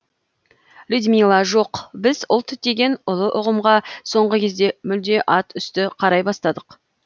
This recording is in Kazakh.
людмила жоқ біз ұлт деген ұлы ұғымға соңғы кезде мүлде ат үсті қарай бастадық